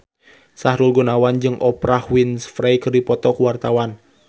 Sahrul Gunawan jeung Oprah Winfrey keur dipoto ku wartawan